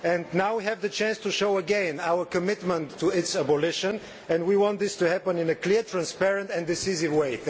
Now we have the chance to show again our commitment to its abolition and we want this to happen in a clear, transparent and decisive way.